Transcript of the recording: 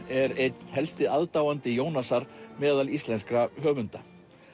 er einn helsti aðdáandi Jónasar meðal íslenskra höfunda